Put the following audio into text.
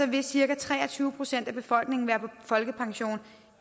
vil cirka tre og tyve procent af befolkningen være på folkepension